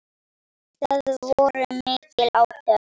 Það voru mikil átök.